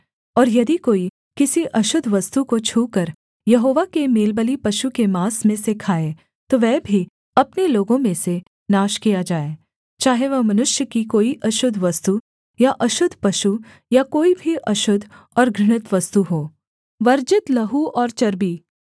और यदि कोई किसी अशुद्ध वस्तु को छूकर यहोवा के मेलबलि पशु के माँस में से खाए तो वह भी अपने लोगों में से नाश किया जाए चाहे वह मनुष्य की कोई अशुद्ध वस्तु या अशुद्ध पशु या कोई भी अशुद्ध और घृणित वस्तु हो